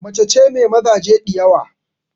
Macace mai mazaje diyawa